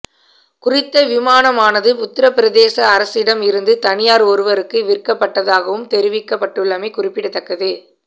குறித்த விமானமானது உத்தரப்பிரதேச அரசிடம் இருந்து தனியார் ஒருவருக்கு விற்கப்பட்டதாகவும் தெரிவிக்கப்பட்டுள்ளமை குறிப்பிடத்தக்கது